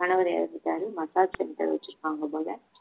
கணவர் இறந்துட்டாரு massage center ல வச்சிருப்பாங்க போல